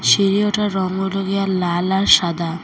চিঁড়ি ওঠার রং হলো গিয়ে লাল আর সাদা।